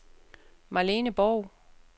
Marlene Borg